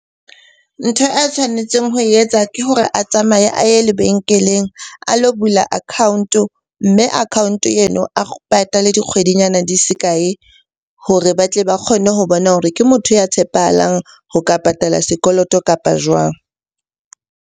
Ntho a tshwanetseng ho e etsa ke hore a tsamaye a ye lebenkeleng a lo bula account-o. Mme account-o eno a patale dikgwedi nyana di se kae hore ba tle ba kgone ho bona hore ke motho ya tshepahalang ho ka patala sekoloto, kapa jwang?